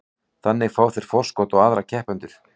Þannig fá þeir forskot á aðra keppendur.